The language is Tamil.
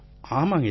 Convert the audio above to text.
ஆமாம் ஆமாம்